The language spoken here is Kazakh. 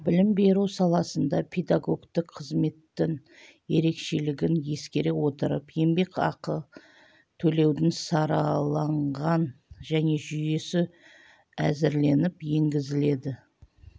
білім беру саласында педагогтік қызметтің ерекшелігін ескере отырып еңбекақы төлеудің сараланған жаңа жүйесі әзірленіп енгізіледі